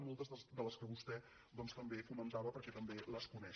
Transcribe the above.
moltes de les quals vostè també comentava perquè també les coneix